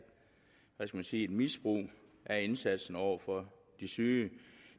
hvad skal man sige misbrug af indsatsen over for de syge